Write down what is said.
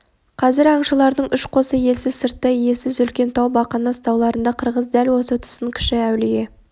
қазір аңшылардың үш қосы елсіз сыртта иесіз үлкен тау бақанас тауларында қырғыз дәл осы тұсын кіші-әулие